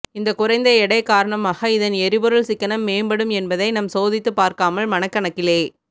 இந்த குறைந்த எடை காரணமாக இதன் எரிபொருள் சிக்கனம் மேம்படும் என்பதை நம் சோதித்து பார்க்காமல் மனக்கணக்கிலே